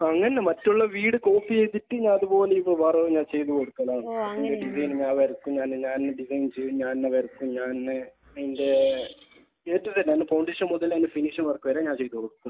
അല്ലല്ല. മറ്റുള്ള വീട് കോപ്പി ചെയ്തിട്ട് ഞാൻ അതുപോലെ ചെയ്ത നോക്കലാണ്. ഡിസൈൻ ഞാൻ വരക്കും. ഞാൻ തന്നെ ഡിസൈൻ ചെയ്യും. ഞാൻ തന്നെ വരക്കും. ഞാൻ തന്നെ അതിന്റെ അതിന്റെ ഫൗണ്ടേഷൻ മുതൽ ഫിനിഷിങ് വർക്ക് വരെ ഞാൻ ചെയ്ത് കൊടുക്കും.